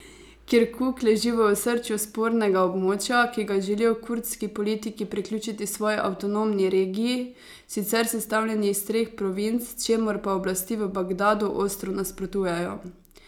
Kirkuk leži v osrčju spornega območja, ki ga želijo kurdski politiki priključiti svoji avtonomni regij, sicer sestavljeni iz treh provinc, čemur pa oblasti v Bagdadu ostro nasprotujejo.